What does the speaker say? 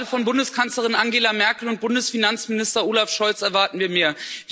Gerade von Bundeskanzlerin Angela Merkel und Bundesfinanzminister Olaf Scholz erwarten wir mehr!